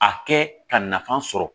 A kɛ ka nafa sɔrɔ